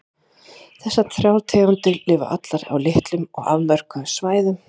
Þessar þrjár tegundir lifa allar á litlum og afmörkuðum svæðum.